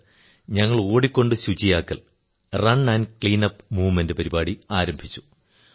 sir ഞങ്ങൾ ഓടിക്കൊണ്ട് ശുചിയാക്കൽ റണ് ക്ലീനപ്പ് മൂവ്മെന്റ് പരിപാടി ആരംഭിച്ചു